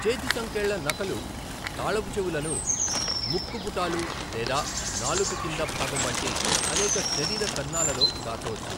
చేతి సంకెళ్ళ నకలు తాళపుచెవులను ముక్కు పుటాలు లేదా నాలుక కింది భాగం వంటి అనేక శరీర కన్నాలలో దాచవచ్చు.